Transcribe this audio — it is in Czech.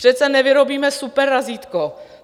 Přece nevyrobíme superrazítko.